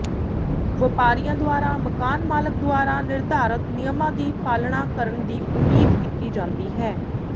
ਵਪਾਰੀਆਂ ਦੁਆਰਾ ਮਕਾਨ ਮਾਲਕ ਦੁਆਰਾ ਨਿਰਧਾਰਤ ਨਿਯਮਾਂ ਦੀ ਪਾਲਣਾ ਕਰਨ ਦੀ ਉਮੀਦ ਕੀਤੀ ਜਾਂਦੀ ਹੈ